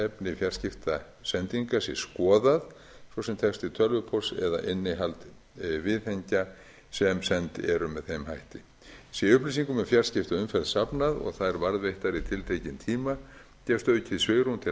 efni fjarskiptasendinga sé skoðað svo sem texti tölvupósts eða innihald viðhengja sem send eru með þeim hætti sé upplýsingum um fjarskiptaumferð safnað og þær varðveittar í tiltekinn tíma gefst aukið svigrúm til